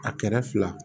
A kɛrɛ fila